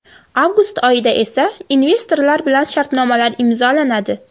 Avgust oyida esa investorlar bilan shartnomalar imzolanadi.